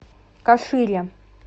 кашире